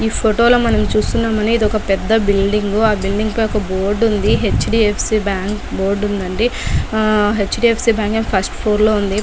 ఈ ఫోటో లో మనం చూస్తున్నాం ఇదొక పెద్ద బిల్డింగ్ ఆ బిల్డింగ్ పై ఒక బోర్డు ఉంది హె.చ్డి.ఎఫ్సి బ్యాంక్ బోర్డ్ ఉందండి హె.చ్డి.ఎఫ్సి. ఏమో ఫస్ట్ ఫ్లోర్ లో ఉంది.